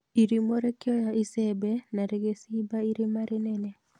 Irimũ rĩkioya icembe na rĩgĩ cimba irima rĩnene